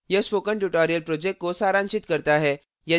यह spoken tutorial project को सारांशित करता है